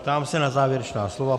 Ptám se na závěrečná slova.